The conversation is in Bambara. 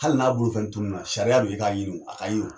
Hali n'a bolo fɛn tununna, sariya do i k'a ɲini o, a ka ye o.